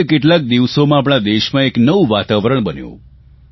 ગત કેટલાક દિવસોમાં આપણા દેશમાં એક એવું વાતાવરણ બન્યું